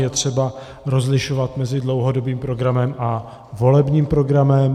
Je třeba rozlišovat mezi dlouhodobým programem a volebním programem.